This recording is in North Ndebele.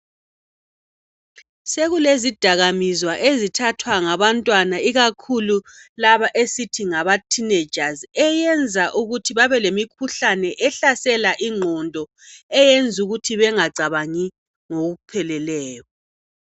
Sekulezidakamizwa ezithathwa ngabantwana ikakhulu laba esithi ngamathinejazi eyenza ukuthi babelemikhuhlane ehlasela ingqondo eyenza ukuthi bengacabangi ngokupheleleyo.